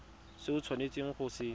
se o tshwanetseng go se